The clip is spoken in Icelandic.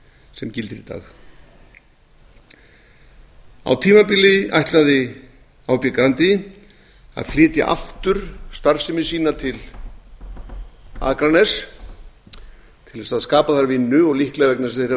sem gildir í dag á tímabili ætlaði hb grandi að flytja aftur starfsemi sína til akraness til að skapa þar vinnu og líklega vegna þess að þeir hafa fundið